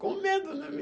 Com medo, né?